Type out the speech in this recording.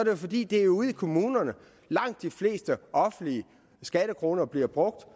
jo fordi det er ude i kommunerne langt de fleste offentlige skattekroner bliver brugt